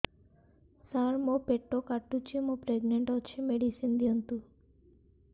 ସାର ମୋର ପେଟ କାଟୁଚି ମୁ ପ୍ରେଗନାଂଟ ଅଛି ମେଡିସିନ ଦିଅନ୍ତୁ